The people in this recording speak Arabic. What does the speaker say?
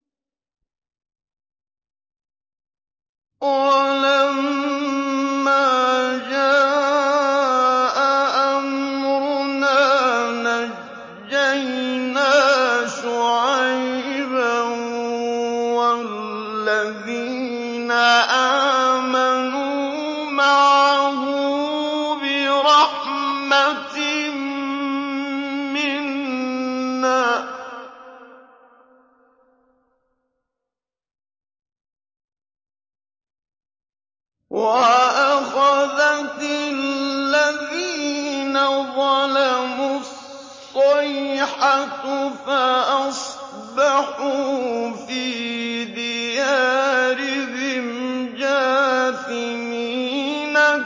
وَلَمَّا جَاءَ أَمْرُنَا نَجَّيْنَا شُعَيْبًا وَالَّذِينَ آمَنُوا مَعَهُ بِرَحْمَةٍ مِّنَّا وَأَخَذَتِ الَّذِينَ ظَلَمُوا الصَّيْحَةُ فَأَصْبَحُوا فِي دِيَارِهِمْ جَاثِمِينَ